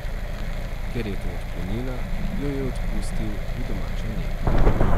Ker je to odklonila, jo je odpustil v domačo nego.